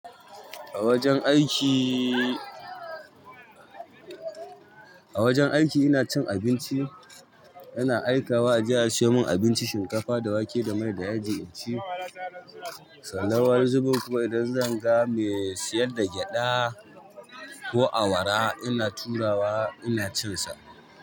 A wajen aiki, a wajen aiki ina cin abinci, ina aikawa, a je a siyo min abinci shinkafa da wake da mai da yaji inci, sannan wani zubin kuma idan zan ga mai siyar da gyaɗa ko awara ina turawa ina cin sa.